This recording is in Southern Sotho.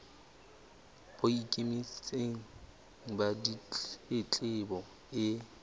bo ikemetseng ba ditletlebo e